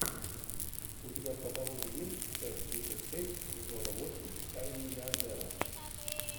у тебя в каталоге есть часть тридцать шесть сезона восемь тайны миллиардера